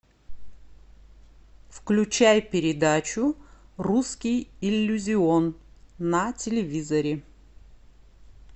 включай передачу русский иллюзион на телевизоре